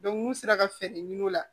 n'u sera ka fɛɛrɛ ɲini o la